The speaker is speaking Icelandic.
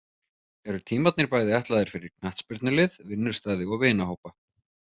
Eru tímarnir bæði ætlaðir fyrir knattspyrnulið, vinnustaði og vinahópa.